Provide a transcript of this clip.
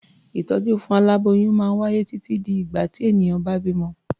Ìtọ́jú fún aláboyún máa wáyé títí di ìgbà tí ènìyàn bá bímọ.